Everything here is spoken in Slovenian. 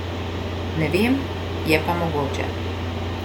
Ne vem, je pa mogoče.